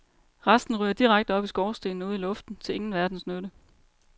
Resten ryger direkte op i skorstenen og ud i luften, til ingen verdens nytte.